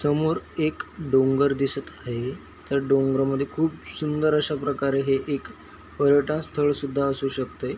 समोर एक डोंगर दिसत हाय त्या डोंगरामद्धे खूप सुंदर अशाप्रकारे हे एक पर्यटन स्थळ सुद्ध असू शकतय.